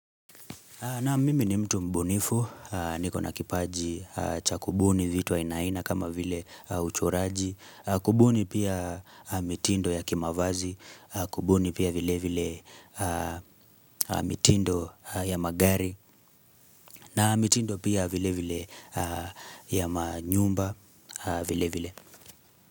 Naam mimi ni mtu mbunifu, niko na kipaji cha kubuni vit ainaaina kama vile uchoraji, kumbuni pia mitindo ya kimavazi, kubuni pia vile vile mitindo ya magari, na mitindo pia vile vile ya manyumba vile vile.